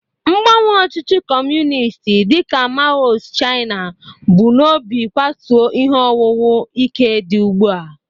Mgbanwe ọchịchị Kọmunist dị ka Mao's China bu n'obi kwatuo ihe owuwu ike dị ugbu a.